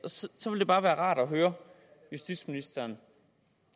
så ville det bare være rart at høre justitsministeren